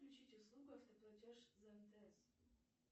включить услугу автоплатеж за мтс